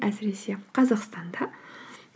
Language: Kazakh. әсіресе қазақстанда